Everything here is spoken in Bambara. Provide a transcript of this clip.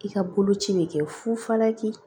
I ka boloci bɛ kɛ fufalaki